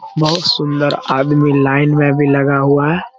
बहुत सुंदर आदमी लाइन में भी लगा हुआ है।